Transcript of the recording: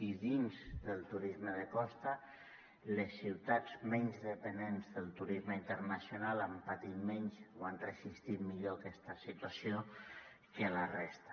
i dins del turisme de costa les ciutats menys dependents del turisme internacional han patit menys o han resistit millor aquesta situació que la resta